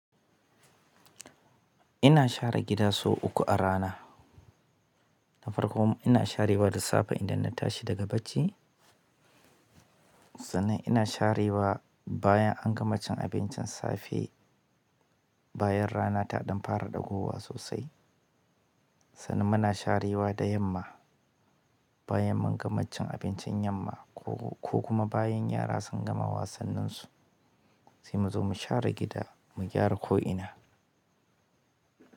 Ina share gida sau uku a rana. Da farko ina sharewa da safe idan na tashi daga barci, sannan ina sharewa bayan an gama cin abincin safe, bayan rana ta ɗan fara ɗagowa sosai. Sannan muna sharewa da yamma bayan mun gama cin abincin yamma ko kuma bayan yara sun gama wasannin su sai mu zo mu share gida mu gyara ko'ina.